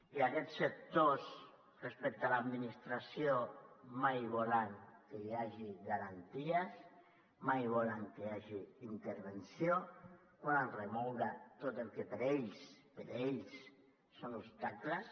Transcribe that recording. i aquests sectors respecte a l’administració mai volen que hi hagi garanties mai volen que hi hagi intervenció volen remoure tot el que per a ells per a ells són obstacles